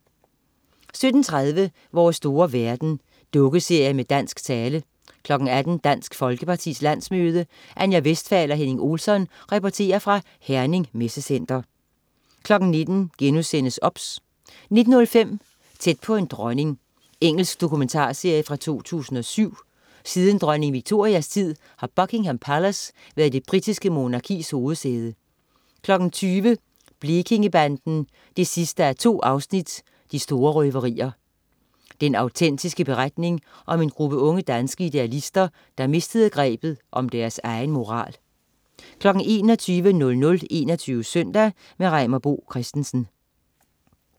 17.30 Vores store verden. Dukkeserie med dansk tale 18.00 Dansk Folkepartis landsmøde. Anja Westphal og Henning Olsson reporterer fra Herning Messecenter 19.00 OBS* 19.05 Tæt på en dronning. Engelsk dokumentarserie fra 2007. Siden dronning Victorias tid har Buckingham Palace været det britiske monarkis hovedsæde 20.00 Blekingegadebanden 2:2. De store røverier. Den autentiske beretning om en gruppe unge danske idealister, der mistede grebet om deres egen moral 21.00 21 Søndag. Reimer Bo Christensen